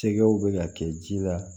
Tɛgɛw bɛ ka kɛ ji la